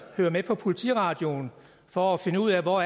hører med på politiradioen for at finde ud af hvor